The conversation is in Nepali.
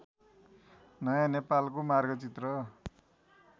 नयाँ नेपालको मार्गचित्र